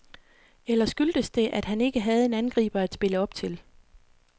Eller skyldtes det, at han ikke havde en angriber at spille op til.